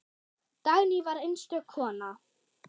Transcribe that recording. Dagný var einstök kona.